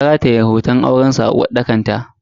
Ta rataye hoton aurensu a uwarɗakar ta.